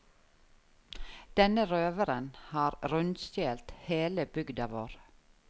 Denne røveren har rundstjelt hele bygda vår.